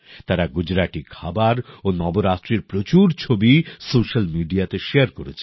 তারা গুজরাটি খাবার ও নবরাত্রির প্রচুর ছবি সোশ্যাল মিডিয়াতে শেয়ার করেছেন